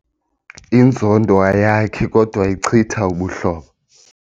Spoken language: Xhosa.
Inzondo ayakhi kodwa ichitha ubuhlobo.